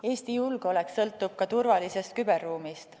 Eesti julgeolek sõltub ka turvalisest küberruumist.